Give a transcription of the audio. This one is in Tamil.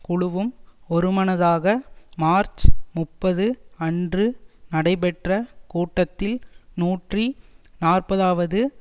குழுவும் ஒருமனதாக மார்ச் முப்பது அன்று நடைபெற்ற கூட்டத்தில் நூற்றி நாற்பதுவது